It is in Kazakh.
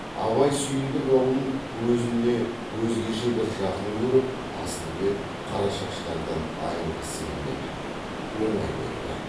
абай сүйіндік аулын өзіне өзгеше бір жақын көріп асылбек қарашаштардан айрылғысы келмеп еді оңай көнді